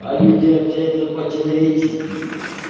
а люди общаются по-человечески